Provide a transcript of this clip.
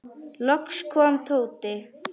Loks kom Tóti.